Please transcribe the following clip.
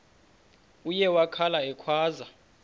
uye wakhala ekhwaza